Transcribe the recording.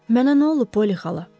Mənə nə olub, Polli xala?